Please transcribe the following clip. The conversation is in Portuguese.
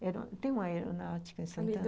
Tem uma aeronáutica em Santana?